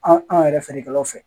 An an yɛrɛ feerekɛlaw fɛ